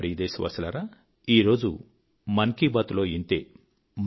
నా ప్రియ దేశవాసులారా నేడుమన్ కీ బాత్ లో ఇంతే